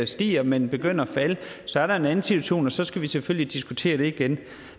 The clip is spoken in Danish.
stiger men begynder at falde så er der en anden situation og så skal vi selvfølgelig diskutere det igen